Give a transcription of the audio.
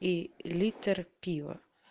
и литр пива